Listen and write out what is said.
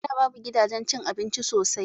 A da babu gidajen cin abinci sosai